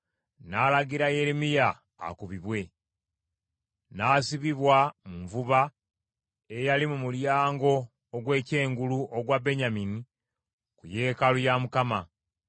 n’alagira Yeremiya akubibwe. N’asibibwa mu nvuba eyali mu mulyango ogw’ekyengulu ogwa Benyamini ku yeekaalu ya Mukama .